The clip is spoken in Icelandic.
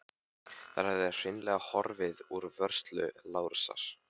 Þær höfðu hreinlega horfið úr vörslu Lárusar.